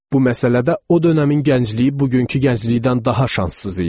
Bu məsələdə o dönəmin gəncliyi bugünkü gənclikdən daha şanssız idi.